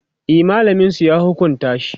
e mallamin su ya hukunta shi